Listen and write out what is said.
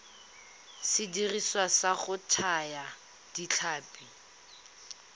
sediriswa sa go thaya ditlhapi